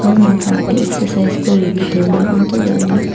ima khenek a exercise korI ape tailey antoh lahley --